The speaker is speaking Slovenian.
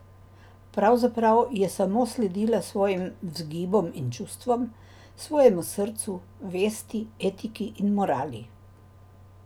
Pravzaprav je samo sledila svojim vzgibom in čustvom, svojemu srcu, vesti, etiki ali morali.